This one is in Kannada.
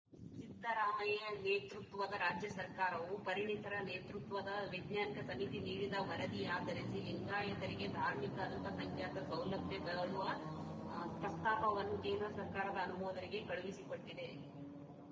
ಸಿದ್ದರಾಮಯ್ಯ ನೇತೃತ್ವದ ರಾಜ್ಯ ಸರ್ಕಾರವು ಪರಿಣಿತರ ನೇತೃತ್ವದ ವೈಜ್ಞಾನಿಕ ಸಮಿತಿ ನೀಡಿದ ವರದಿಯಾಧರಿಸಿ ಲಿಂಗಾಯತರಿಗೆ ಧಾರ್ಮಿಕ ಅಲ್ಪಸಂಖ್ಯಾತ ಸೌಲಭ್ಯ ಕೊಡುವ ಪ್ರಸ್ತಾಪವನ್ನು ಕೇಂದ್ರ ಸರ್ಕಾರದ ಅನುಮೋದನೆಗೆ ಕಳುಹಿಸಿಕೊಟ್ಟಿದೆ